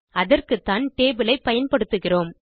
அதற்குத்தான் டேபிள் ஐ பயன்படுத்துகிறோம்